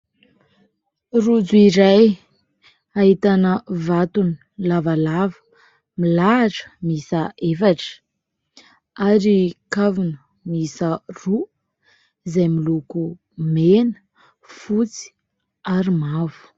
Rojo iray ahitana vatony lavalava milahatra misa efatra ary kavona misa roa izay miloko mena, fotsy ary mavo.